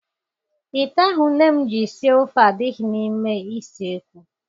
Ite ahụ nne m ji sie ofe adịghị n'ime isiekwu.